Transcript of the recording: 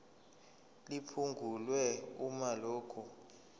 liphungulwe uma lokhu